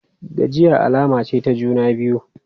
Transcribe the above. Gajiya alama ce ta juna biyu.